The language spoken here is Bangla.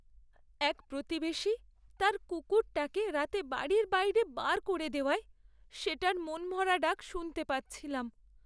এক প্রতিবেশী তার কুকুরটাকে রাতে বাড়ির বাইরে বার করে দেওয়ায়, সেটার মনমরা ডাক শুনতে পাচ্ছিলাম।